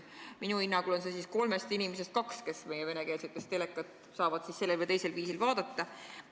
Minu hinnangul saavad kolmest inimesest kaks meie venekeelseid telesaateid sellel või teisel viisil vaadata.